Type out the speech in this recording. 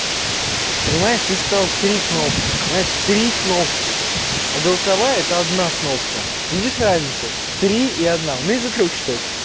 понимаешь ты сказал три кнопки понимаешь три кнопки а голосовая это одна кнопка видишь разницу три и одна умеешь до трёх читать